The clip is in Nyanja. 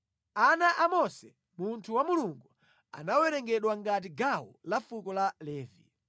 Ana a Mose munthu wa Mulungu anawerengedwa ngati gawo la fuko la Levi.